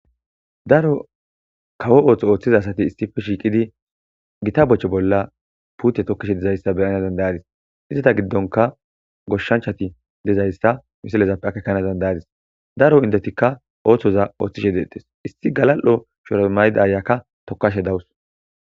daro kawo ooththo ooththiza asati isife shiiqidi gita boche bolla pute tokkishe dizayssa beyana dandayadis izteta giddonka goshshanchati dizayssa misalezappe akkekana dandayadis daro indetikka ooththoza ooththishe deettes isti galal'o shoromayda ayakka tokashe dawus